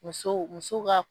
Musow muso ka